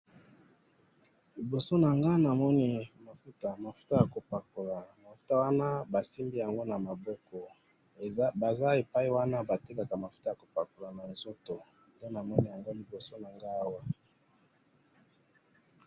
Liboso na nga namoni mafuta ,mafuta ya ko pakola ,mafuta wana basimbi yango na maboko ,baza epai wana batekaka mafuta ya ko pakola na nzoto, nde namoni yango liboso na ngai awa